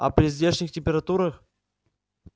а при здешних температурах